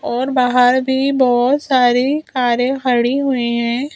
और बाहर भी बहोत सारी कारें खड़ी हुई है।